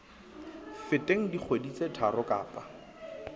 feteng dikgwedi tse tharo kapa